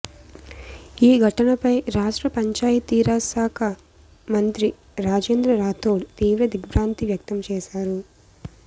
ఈ ఘటనపై రాష్ట్ర పంచాయతీ రాజ్ శాఖా మంత్రి రాజేంద్ర రాథోడ్ తీవ్ర దిగ్బ్రాంతి వ్యక్తం చేశారు